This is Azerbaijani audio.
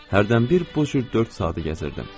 Hərdənbir bu cür dörd saatı gəzirdim.